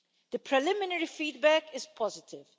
The preliminary feedback is positive.